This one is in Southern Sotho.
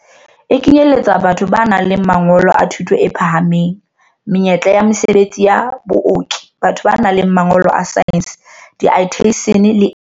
E kenyeletsa batho ba nang le mangolo a thuto e phahameng, menyetla ya mesebetsi ya baoki, batho ba nang le mangolo a saense, diathesine le e meng.